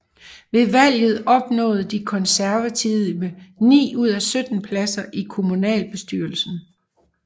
Ved valget opnåede De Konservative ni ud af 17 pladser i kommunalbestyrelsen